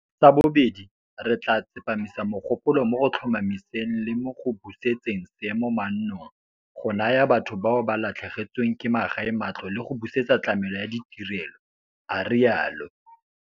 "Sa bobedi, re tla tsepamisa mogopolo mo go tlhomamiseng le mo go busetseng seemo mannong, go naya batho bao ba latlhegetsweng ke magae matlo le go busetsa tlamelo ya ditirelo," a rialo.